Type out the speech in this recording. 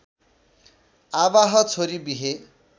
आवाह छोरी बिहे